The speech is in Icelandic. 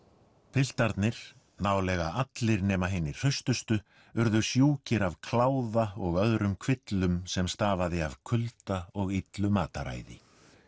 piltarnir nálega allir nema hinir hraustustu urðu sjúkir af kláða og öðrum kvillum sem stafaði af kulda og illu mataræði